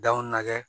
Danw nɛgɛ